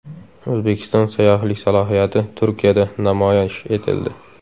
O‘zbekiston sayyohlik salohiyati Turkiyada namoyish etildi.